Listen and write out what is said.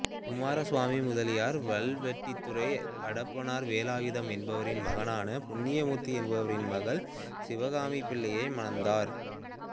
குமாரசுவாமி முதலியார் வல்வெட்டித்துறை அடப்பனார் வேலாயுதம் என்பவரின் மகனான புண்ணியமூர்த்தி என்பவரின் மகள் சிவகாமிப்பிள்ளையை மணந்தார்